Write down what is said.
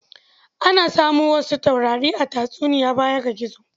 Ana samu wasu taurari a tatsuniya baya ga gizo.